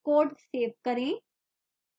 code save करें